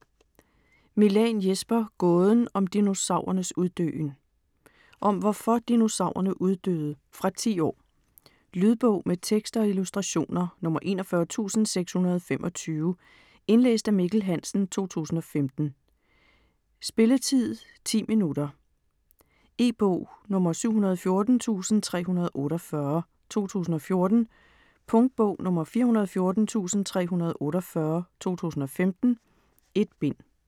Milàn, Jesper: Gåden om dinosaurernes uddøen Om hvorfor dinosaurerne uddøde. Fra 10 år. Lydbog med tekst og illustrationer 41625 Indlæst af Mikkel Hansen, 2015. Spilletid: 0 timer, 10 minutter. E-bog 714348 2014. Punktbog 414348 2015. 1 bind.